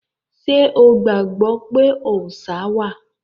Ṣé o gbàgbọ́ pé òòṣá wà?